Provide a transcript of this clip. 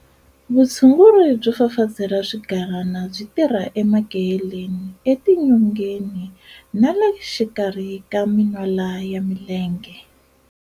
Vutshunguri byo fafazela swigalana byi tirha emakeheleni, etinyongeni na le xikarhi ka minwala ya mienge.